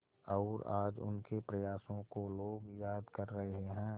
और आज उनके प्रयासों को लोग याद कर रहे हैं